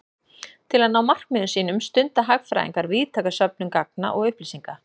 Til að ná markmiðum sínum stunda hagfræðingar víðtæka söfnun gagna og upplýsinga.